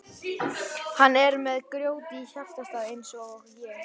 Hann er með grjót í hjartastað eins og ég.